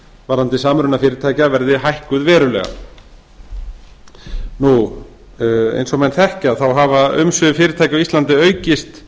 varðandi samruna fyrirtækja verði hækkuð verulega eins og menn þekkja þá hafa umsvif fyrirtækja á íslandi aukist